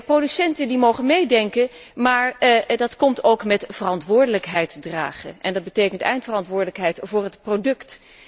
Producenten mogen meedenken, maar moeten dan ook verantwoordelijkheid dragen, en dat betekent eindverantwoordelijkheid voor het product.